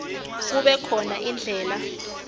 kube khona indlela